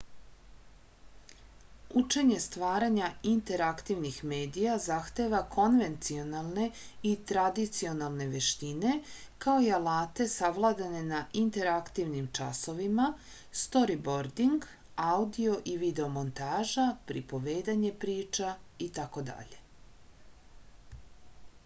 учење стварања интерактивних медија захтева конвенционалне и традиционалне вештине као и алате савладане на интерактивним часовима сторибординг аудио и видео монтажа приповедање прича итд.